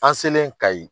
An selen ka yen